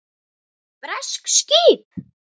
Bresk skip!